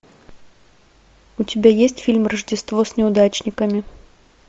у тебя есть фильм рождество с неудачниками